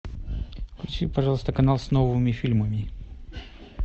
включи пожалуйста канал с новыми фильмами